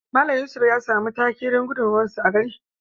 Mallam yusuf ya samu take don gudunmawar sa a gari.